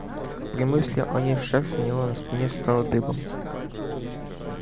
при мысли о ней шерсть у него на спине встала дыбом